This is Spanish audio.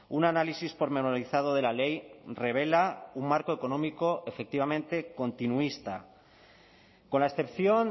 un análisis pormenorizado de la ley revela un marco económico efectivamente continuista con la excepción